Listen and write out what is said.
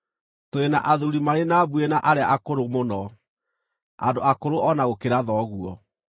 Tũrĩ na athuuri marĩ na mbuĩ na arĩa akũrũ mũno, andũ akũrũ o na gũkĩra thoguo.